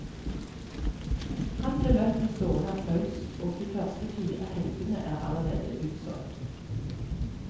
Han ble møtt med stående applaus, og de første fire helgene er allerede utsolgt.